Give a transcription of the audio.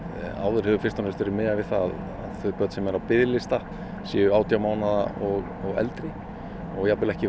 áður hefur verið miðað við það að þau börn sem eru á biðlista séu átján mánaða og eldri og ekki